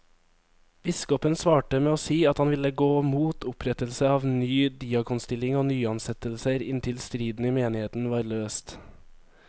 Biskopen svarte med å si at han ville gå mot opprettelse av ny diakonstilling og nyansettelser inntil striden i menigheten var løst.